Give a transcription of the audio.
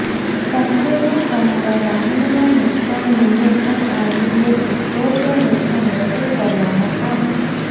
સંકુચિત તમારા વાહનના નુકસાનીને પણ આવરી લેશે જો તે નુકસાન વસૂલ કરવામાં આવે